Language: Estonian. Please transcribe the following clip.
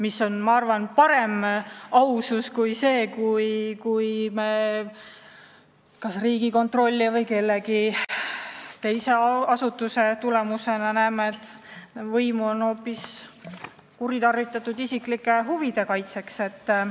See on, ma arvan, parem ja ausam tagasiastumine kui selline, mis sünnib Riigikontrolli või mõne teise asutuse töö tulemusena, kui on selgunud, et võimu on kuritarvitatud isiklikke huve silmas pidades.